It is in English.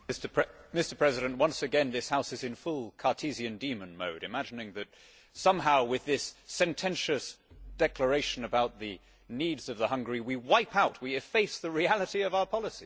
Mr President, once again this House is in full Cartesian demon mode, imagining that somehow, with this sententious declaration about the needs of the hungry, we wipe out and efface the reality of our policies.